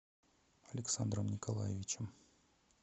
александром николаевичем